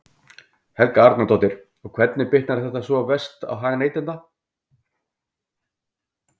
Helga Arnardóttir: Og hvernig bitnar þetta svona verst á hag neytenda?